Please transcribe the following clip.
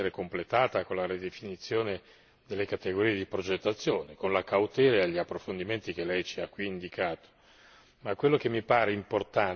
Io penso che poi questa direttiva dovrà essere completata con la ridefinizione delle categorie di progettazione, con la cautela e gli approfondimenti che Lei ci qui indicato.